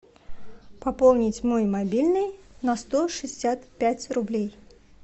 пополнить мой мобильный на сто шестьдесят пять рублей